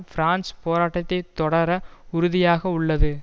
France போராட்டத்தை தொடர உறுதியாக உள்ளது